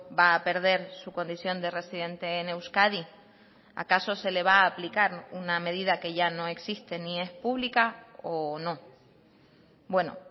va a perder su condición de residente en euskadi acaso se le va a aplicar una medida que ya no existe ni es pública o no bueno